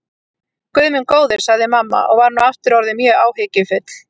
Guð minn góður, sagði mamma og var nú aftur orðin mjög áhyggjufull.